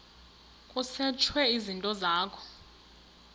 kusetshwe izinto zakho